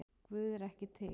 Guð er ekki til